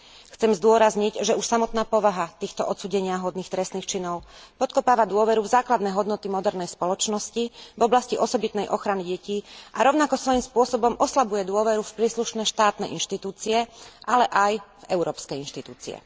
Chcem zdôrazniť, že už samotná povaha týchto odsúdeniahodných trestných činov podkopáva dôveru v základné hodnoty modernej spoločnosti v oblasti osobitnej ochrany detí a rovnako svojim spôsobom oslabuje dôveru v príslušné štátne inštitúcie, ale aj európske inštitúcie.